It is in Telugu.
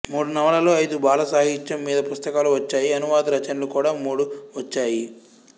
మూడు నవలలు ఐదు బాలసాహిత్యం మీద పుస్తకాలు వచ్చాయి అనువాద రచనలు కూడా మూడు వచ్చాయి